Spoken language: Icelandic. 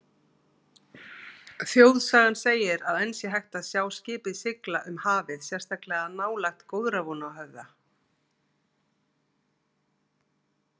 Þjóðsagan segir að enn sé hægt að sjá skipið sigla um hafið sérstaklega nálægt Góðrarvonarhöfða.